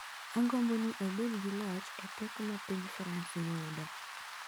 """Agombo ni obed gi loch e pek ma piny France yudo."